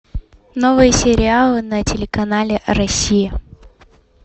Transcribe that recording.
новые сериалы на телеканале россия